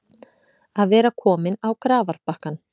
Að vera kominn á grafarbakkann